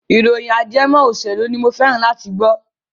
ìròyìn ajẹmọ òṣèlú ni mo fẹ́ràn láti gbọ́.